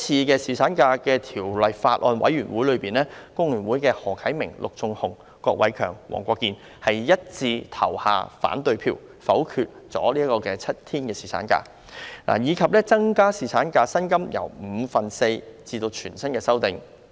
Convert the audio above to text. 在《2018年僱傭條例草案》委員會的會議上，工聯會的何啟明議員、陸頌雄議員、郭偉强議員及黃國健議員一致投下反對票，否決了7日侍產假的建議及把侍產假薪金由五分之四增至全薪的修正案。